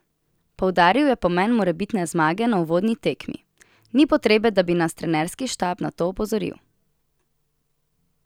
Poudaril je pomen morebitne zmage na uvodni tekmi: "Ni potrebe, da bi nas trenerski štab na to opozoril.